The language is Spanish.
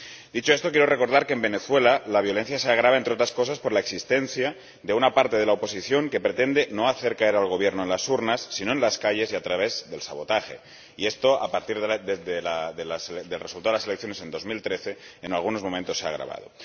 Dicho esto, quiero recordar que en Venezuela la violencia se agrava, entre otras cosas, por la existencia de una parte de la oposición que pretende no hacer caer al Gobierno en las urnas, sino en las calles y a través del sabotaje y esto, a partir del resultado de las elecciones en el año 2013, en algunos momentos se ha agravado.